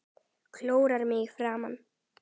Klórar mig í framan.